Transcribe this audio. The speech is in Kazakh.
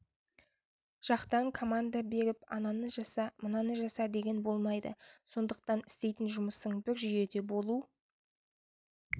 жақтан команда беріп ананы жаса мынаны жаса деген болмайды сондықтан істейтін жұмысың бір жүйеде болу